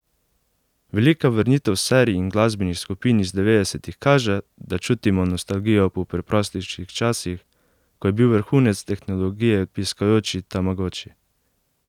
Velika vrnitev serij in glasbenih skupin iz devetdesetih kaže, da čutimo nostalgijo po preprostejših časih, ko je bil vrhunec tehnologije piskajoči tamagoči?